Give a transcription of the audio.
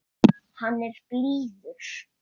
Hann er blíður.